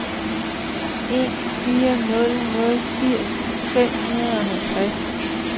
en fire nul nul firs fem hundrede og halvtreds